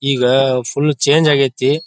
ಈಗ full change ಆಗೈತಿ.